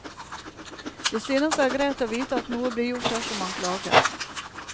De synes det er greit å vite at noe blir gjort dersom man klager.